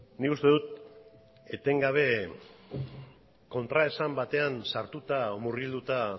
nik uste dut etengabe kontraesan batean sartuta edo murgilduta